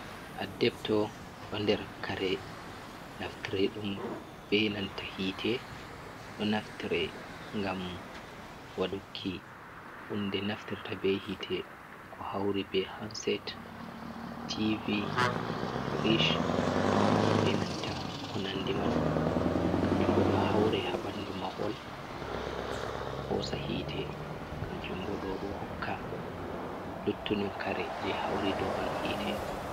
Addebto ɗo nder kare naftre ɗum ɓe nanta hite, do naftre ngam wadduki hunde naftirta be hite ko hauri be hanset tv frish be nanta konandi man kanjumbo do haure ha bandu mahol hosa hite, kanjumbo do hokka luttudun kare je hauri do man hite.